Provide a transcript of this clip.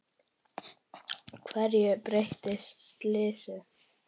Hverju breytti slysið?